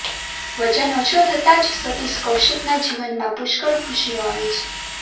વજન ઓછો થતા જ સતીશ કૌશિકનાં જીવનમાં પુષ્કળ ખુશીઓ આવી છે